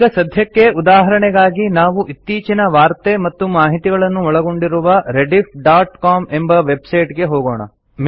ಈಗ ಸಧ್ಯಕ್ಕೆ ಉದಾಹರಣೆಗಾಗಿ ನಾವು ಇತ್ತೀಚಿನ ವಾರ್ತೆ ಮತ್ತು ಮಾಹಿತಿಗಳನ್ನು ಒಳಗೊಂಡಿರುವ rediffಸಿಒಎಂ ಎಂಬ ವೆಬ್ಸೈಟ್ ಗೆ ಹೋಗೊಣ